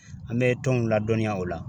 An bɛ tɔnw ladɔnniya o la.